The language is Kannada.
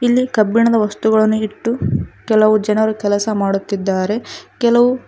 ಇಲ್ಲಿ ಕಬ್ಬಿಣದ ವಸ್ತುಗಳನ್ನು ಇಟ್ಟು ಕೆಲವು ಜನರು ಕೆಲಸ ಮಾಡುತ್ತಿದ್ದಾರೆ ಕೆಲವು--